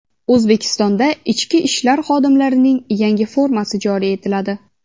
O‘zbekistonda ichki ishlar xodimlarining yangi formasi joriy etiladi.